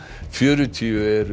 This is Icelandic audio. fjörutíu eru